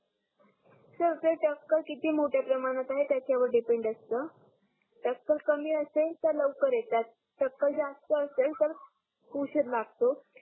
sir ते टक्कल किती मोठ्या प्रमाणात आहे त्याच्या वर डिपेण्ड असतो टक्कल कामी असेल तर लवकर येतात टकल्ल जास्त असेल तर उसीर लागतो